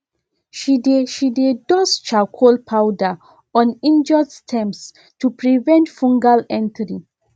she dey she dey dust charcoal powder on injured stems to prevent fungal entry